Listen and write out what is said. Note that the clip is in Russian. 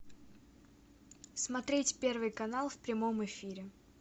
смотреть первый канал в прямом эфире